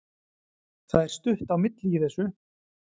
Það er stutt á milli í þessu!